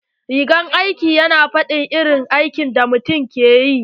Rigar aiki yana fadin irin aikin da mutum yake ƴi.